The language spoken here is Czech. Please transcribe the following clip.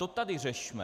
To tady řešme.